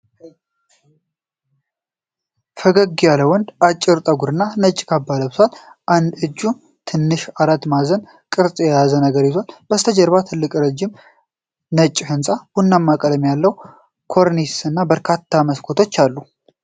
ፈገግ ያለ ወንድ፣ አጭር ጠጉር እና ነጭ ካባ ለብሷል። በአንድ እጁ ትንሽ፣ አራት ማዕዘን ቅርጽ ያለው ነገር ይዟል። ከበስተጀርባ ትልቅ፣ ረጅም፣ ነጭ ሕንጻ፣ ቡናማ ቀለም ያለው ኮርኒስ እና በርካታ መስኮቶች አሉ።